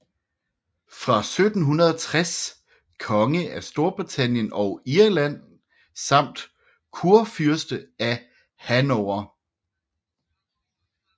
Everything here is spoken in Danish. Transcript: Fra 1760 konge af Storbritannien og Irland samt kurfyrste af Hannover